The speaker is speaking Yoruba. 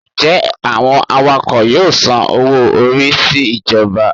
Njẹ awọn awakọ yọọ sán owo-orí si ijọba?